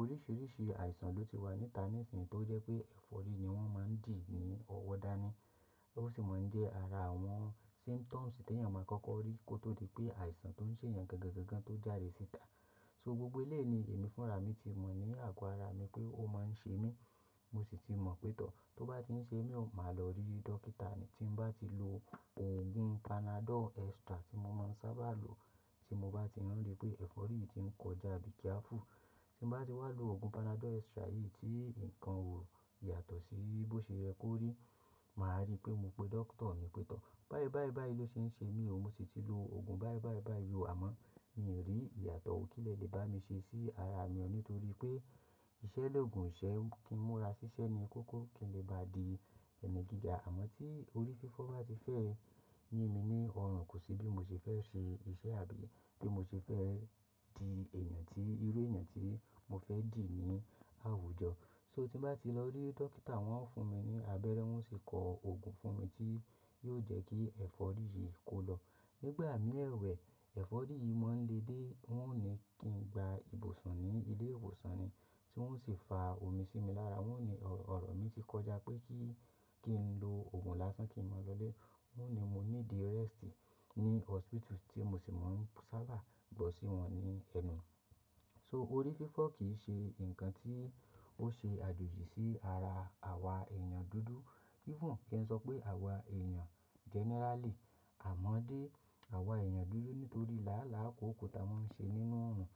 oríṣiríṣi àìsàn ló ti wà níta nísinyi tó jẹ́ pé ẹ̀fọ́rí ni wọ́n máa ń dì ní ọwọ́ dá ni. Ó sì máa ń jẹ́ ara àwọn symptoms tí èèyàn máa ń kọ́kọ́ rí kó tó di pé àìsàn tó ń ṣe èèyàn gangan tó jáde síta. So gbogbo ilẹ̀ ni èmi fúnra mi ti mọ̀ ní àgọ́ ara mi pé ó máa ń ṣe mí. Mo sì ti mọ̀ pé tọ́, tó bá ti ń ṣe mí, máa lọ rí dókítà ni. Tí n bá ti lo òògùn panadol extra tí mo máa ń sábà lo tí mo bá ti rán ri pé ẹ̀fọ́rí yìí ti ń kọjá bíi kíá fú. Tí n bá ti wá lo òògùn panadol extra yìí tí nǹkan ò yàtọ̀ sí bí ó ṣe yẹ kó rí, màá rí pé mo pé dóctor ni pé tọ́, báyìí báyìí báyìí ló ṣe ń ṣe mí o. Mo sì ti lo òògùn báyìí báyìí báyìí o. Àmọ́ mi ò rí ìyàtọ̀ kí lẹ lè bá mi ṣe sí ara mi ọ́n nítorí pé iṣẹ́ lóògùn ìṣẹ́ kí n múra ṣiṣẹ́ ni kókó kí n lè bá di ẹni gíga. Àmọ́ tí orí fífọ́ bá ti fẹ́ yin mi ní ọrùn, kò sí bí mo ṣe fẹ́ ṣe iṣẹ́ àbí bí mo ṣe fẹ́ di èèyàn tí irú èèyàn tí mo fẹ́ dì ní àwùjọ. So tí n bá ti lọ rí dókítà, wọ́n fún mi ní abẹ́rẹ́, wọ́n sì kọ òògùn fún mi tí yóò jẹ́ kí ẹ̀fọ́rí yìí kó lọ. Nígbà mí ẹ̀wẹ̀, ẹ̀fọ́rí yìí máa ń le dé, wọ́n ò ní kí n gba ibùsùn ní ilé ìwòsàn ni tí wọ́n sì fa omi sí mi lára. Wọ́n ni ọ̀rọ̀ mi ti kọjá pé kí, kí n lo òògùn lásán kí n máa lọlé. Wọ́n ni mo ní di rest ní hospital tí mo sì máa ń sábà gbo sí wọn ní ẹnu. So orí fífọ́ kì í ṣe nǹkan tí ó ṣe àjòjì sí ara àwa èèyàn dúdú. Even kí n sọ pé àwa èèyàn generally. Àmọ́ dé àwa èèyàn dúdú nítorí làálàá kóko ta máa ń ṣe nínú oòrùn.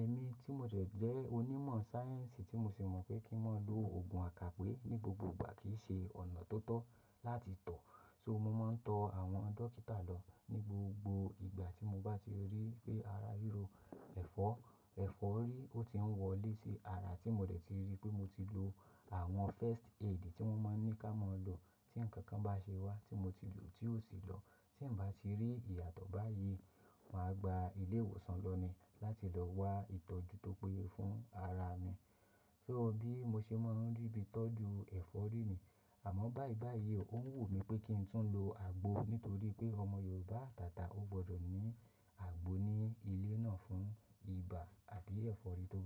Ẹ̀mí tí mo jẹ̀ jẹ́ onímọ̀ sáyẹ́ǹsì tí mo sì mọ̀ pé kí n máa lo òògùn àkápò ní gbogbo ìgbà kì í ṣe ọ̀nà tó tọ́ láti tọ̀. So mo máa ń tọ àwọn dókítà lọ ní gbogbo ìgbà tí mo bá ti rí pé ara ríro ẹ̀fọ́, ẹ̀fọ́rí ó ti ń wọlé sí ara tí mo dẹ̀ ti rí pé mo ti lo àwọn first aid tí wọ́n máa ń ní kí a máa lo tí nǹkan kan bá ṣe wá tí mo ti lò tí ó sì lọ. Tí n bá ti rí ìyàtọ̀ báyìí, màá gba ilé ìwòsàn lọ ni láti lọ wá ìtọ́jú tó péye fún ara mi. So bí mo ṣe máa ń rí bí tọ́jú ẹ̀fọ́rí ni. Àmọ́ báyìí báyìí o, ó wù mí pé kí n tún lo àgbo nítorí pé ọmọ Yorùbá àtàtà ó gbọdọ̀ ní àgbo ní ilé náà fún ibà àbí ẹ̀fọ́rí tó bá.